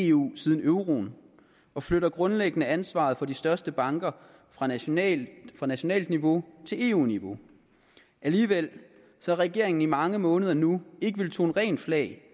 i eu siden euroen og flytter grundlæggende ansvaret for de største banker fra nationalt fra nationalt niveau til eu niveau alligevel har regeringen i mange måneder nu ikke villet tone rent flag